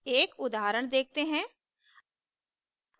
एक उदाहरण देखते हैं